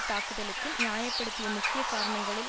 தாக்குதலுக்கு நியாய படுத்திய முக்கிய காரணங்களுள்